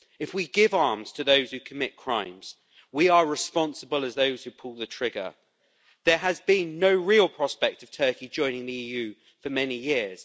If we give arms to those who commit crimes we are responsible as those who pull the trigger. There has been no real prospect of Turkey joining the EU for many years.